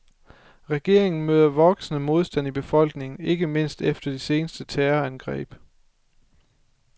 Regeringen møder voksende modstand i befolkningen, ikke mindst efter de seneste terrorangreb.